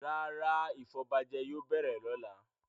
Rárá, ìfọbajẹ yóò bẹ̀rẹ̀ lọ́la.